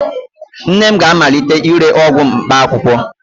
Nne m ga-amalite ire ọgwụ mkpaakwụkwọ